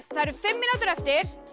það eru fimm mínútur eftir